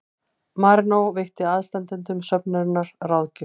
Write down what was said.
Marínó veitti aðstandendum söfnunarinnar ráðgjöf